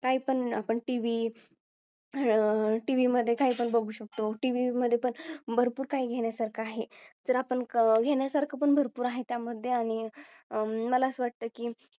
काही पण आपण TV अह TV मध्ये काही पण बघू शकतो TV मध्ये पण भरपूर काही घेण्यासारखं आहे. जर आपण घेण्यासारखं भरपूर आहे त्या मध्ये आणि मला असं वाटतं की